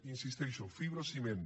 hi insisteixo fibrociment